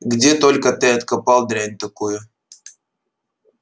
где только ты откопал дрянь такую